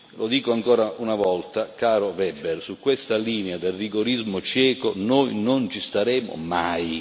Lo dico ancora una volta, caro Weber, su questa linea del rigorismo cieco, noi non ci staremo mai.